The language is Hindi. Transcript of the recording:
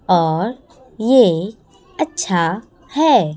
और ये अच्छा है।